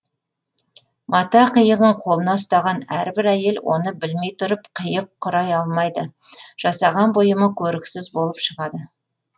мата қиығын қолына ұстаған әрбір әйел оны білмей тұрып қиық құрай алмайды жасаған бұйымы көріксіз болып шығады